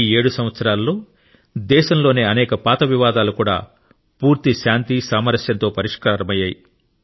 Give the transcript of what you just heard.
ఈ 7 సంవత్సరాలలో దేశంలోని అనేక పాత వివాదాలు కూడా పూర్తి శాంతి సామరస్యంతో పరిష్కృతమయ్యాయి